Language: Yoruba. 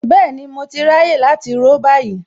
Bẹ́ẹ̀ni mo ti ráyè láti ró báyìí